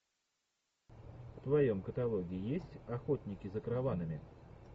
в твоем каталоге есть охотники за караванами